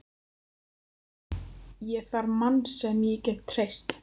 Ég þarf mann sem ég get treyst.